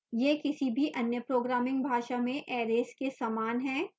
यह किसी भी any programming भाषा में arrays के समान है